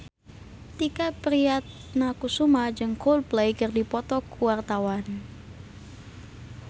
Tike Priatnakusuma jeung Coldplay keur dipoto ku wartawan